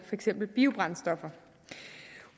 eksempel biobrændstoffer